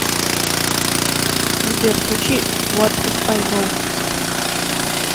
сбер включи вот иф ай гоу